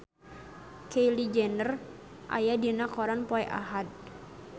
Kylie Jenner aya dina koran poe Ahad